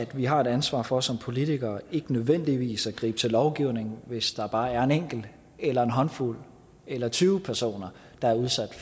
vi har et ansvar for som politikere ikke nødvendigvis at gribe til lovgivning hvis der bare er en enkelt eller en håndfuld eller tyve personer der er udsat